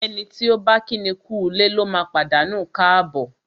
Ẹni tí ọ̀ bá kíni kúulé lóma pàdánù káàbọ̀.